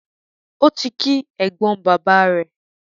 Ó ti kí ẹ̀gbọ́n bàbáà rẹ̀.